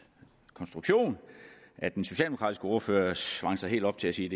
konstruktion at den socialdemokratiske ordfører svang sig helt op til at sige